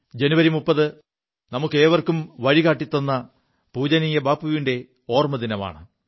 ജനുവരി 30 നമുക്കേവർക്കും പുതിയ വഴി കാിത്ത പൂജനീയ ബാപ്പുവിന്റെ ഓർമ്മ ദിനമാണ്